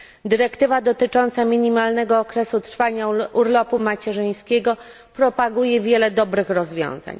Dyrektywa dotycząca minimalnego okresu trwania urlopu macierzyńskiego propaguje wiele dobrych rozwiązań.